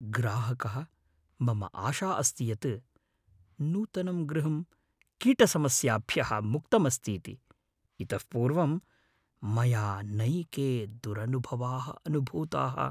ग्राहकः "मम आशा अस्ति यत् नूतनं गृहं कीटसमस्याभ्यः मुक्तमस्तीति । इतः पूर्वं मया नैके दुरनुभवाः अनुभूताः"।